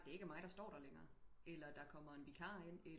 Det ikke er mig der står der længere eller der kommer en vikar ind